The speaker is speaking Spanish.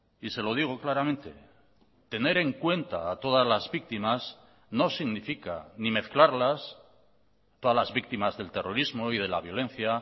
y se lo digo claramente tener en cuenta a todas las víctimas no significa ni mezclarlas todas las víctimas del terrorismo y de la violencia